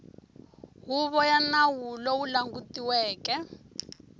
huvo ya nawu lowu langutiweke